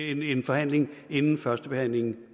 en forhandling inden førstebehandlingen